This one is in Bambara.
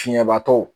Fiɲɛbatɔ